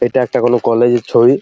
এটা একটা কোন কলেজ -এর ছবি ।